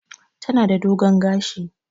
Tana da dogon gashi.